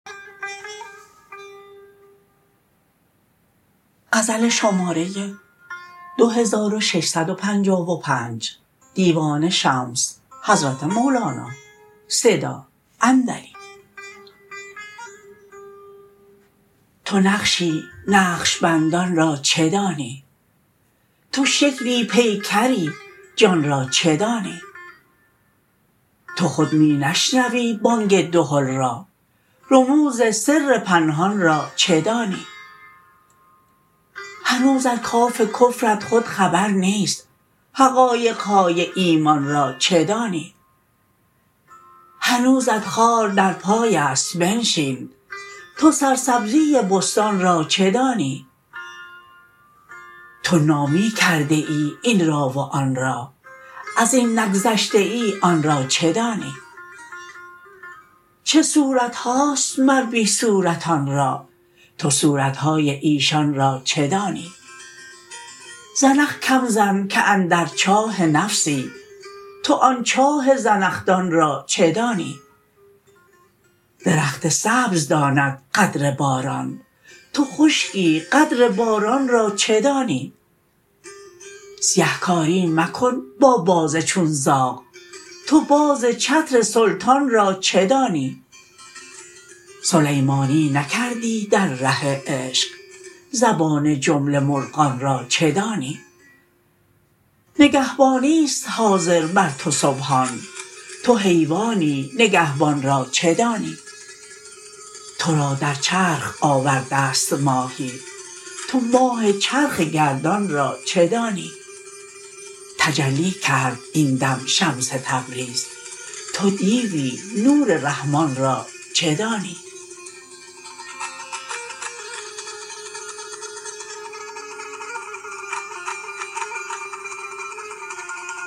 تو نقشی نقش بندان را چه دانی تو شکلی پیکری جان را چه دانی تو خود می نشنوی بانگ دهل را رموز سر پنهان را چه دانی هنوز از کات کفرت خود خبر نیست حقایق های ایمان را چه دانی هنوزت خار در پای است بنشین تو سرسبزی بستان را چه دانی تو نامی کرده ای این را و آن را از این نگذشته ای آن را چه دانی چه صورت هاست مر بی صورتان را تو صورت های ایشان را چه دانی زنخ کم زن که اندر چاه نفسی تو آن چاه زنخدان را چه دانی درخت سبز داند قدر باران تو خشکی قدر باران را چه دانی سیه کاری مکن با باز چون زاغ تو باز چتر سلطان را چه دانی سلیمانی نکردی در ره عشق زبان جمله مرغان را چه دانی نگهبانی است حاضر بر تو سبحان تو حیوانی نگهبان را چه دانی تو را در چرخ آورده ست ماهی تو ماه چرخ گردان را چه دانی تجلی کرد این دم شمس تبریز تو دیوی نور رحمان را چه دانی